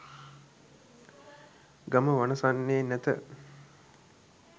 ගම වනසන්නේ නැත.